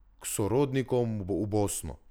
K sorodnikom v Bosno.